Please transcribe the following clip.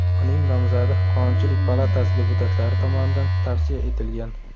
Uning nomzodi Qonunchilik palatasi deputatlari tomonidan tavsiya etilgan .